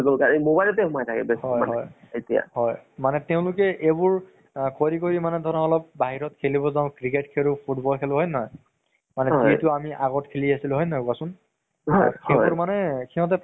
তʼ news কেইটাও চাব লাগে। অকল movies বুলি নহয়, news ও চাব লাগে আমি। তেতিয়াহে গম পাম আমাৰ অসমত বা বাহিৰত কি চলি আছে, কেনʼকা প্ৰস্থিতি হৈ আছে। আমি ধৰি লোৱা অলপ নিজৰ কামতে ব্য়স্ত থাকিলে নহব না।